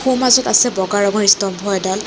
সোঁ মাজত আছে ব'গা ৰঙৰ স্তম্ভ এডাল।